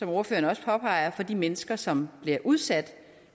ordføreren også påpeger for de mennesker som bliver udsat